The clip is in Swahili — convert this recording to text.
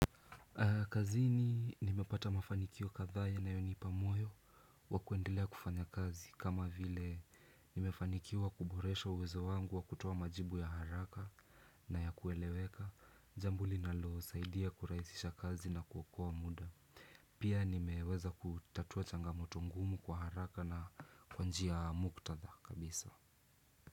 Kazini nimepata mafanikio kadhaa yanayonipa moyo wa kuendelea kufanya kazi kama vile nimefanikiwa kuboresha uwezo wangu wa kutoa majibu ya haraka na ya kueleweka jambo linalosaidia kurahisisha kazi na kuokoa muda pia nimeweza kutatua changamoto ngumu kwa haraka na kwa njia ya muktatha kabisa.